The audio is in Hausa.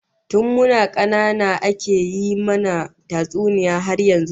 Tun muna kanana ake yi mana tatsuniya har yanzu